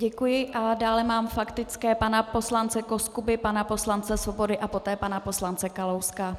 Děkuji a dále mám faktické pana poslance Koskuby, pana poslance Svobody a poté pana poslance Kalouska.